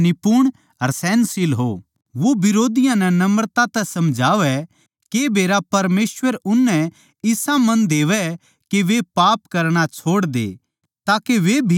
वो बिरोधियाँ नै नम्रता तै समझावै के बेरा परमेसवर उननै इसा मन देवै के वे पाप करणा छोड़ दे ताके वे भी सच नै पिच्छाणै